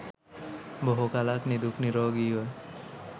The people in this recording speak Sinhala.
බොහෝ කලක් නිදුක් නීරෝගීව